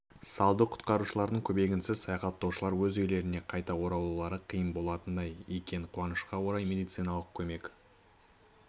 салды құтқарушылардың көмегінсіз саяхаттаушылар өз үйлеріне қайта оралулары қиын болатындай екен қуанышқа орай медициналық көмек